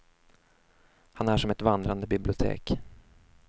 Han är som ett vandrande bibliotek.